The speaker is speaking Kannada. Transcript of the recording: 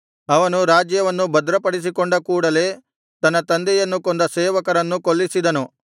ಅವನು ರಾಜ್ಯವನ್ನು ಭದ್ರಪಡಿಸಿಕೊಂಡ ಕೂಡಲೆ ತನ್ನ ತಂದೆಯನ್ನು ಕೊಂದ ಸೇವಕರನ್ನು ಕೊಲ್ಲಿಸಿದನು